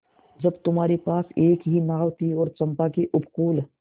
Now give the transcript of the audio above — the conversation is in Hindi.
जब तुम्हारे पास एक ही नाव थी और चंपा के उपकूल